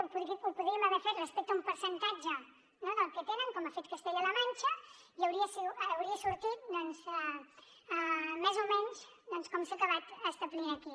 ho podríem haver fet respecte a un percentatge del que tenen com ho ha fet castella la manxa i hauria sortit més o menys doncs com s’ha acabat establint aquí